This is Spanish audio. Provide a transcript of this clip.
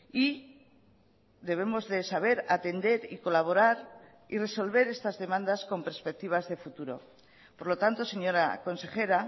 y debemos de saber atender y colaborar y resolver estas demandas con perspectivas de futuro por lo tanto señora consejera